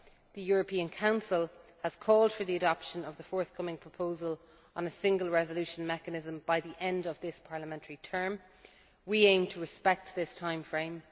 The European Council has called for the adoption of the forthcoming proposal on a single resolution mechanism by the end of this parliamentary term. We aim to respect this timeframe.